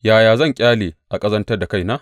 Yaya zan ƙyale a ƙazantar da kaina?